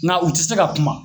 Nka u ti se ka kuma